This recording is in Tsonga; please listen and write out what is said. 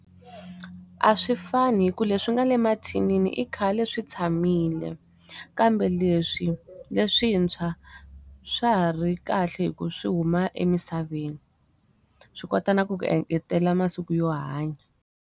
A swi fani hikuva leswi nga le mathinini i khale swi tshamile, kambe leswi leswintshwa, swa ha ri kahle hi ku swi huma emisaveni. Swi kota na ku ku engetelela masiku yo hanya.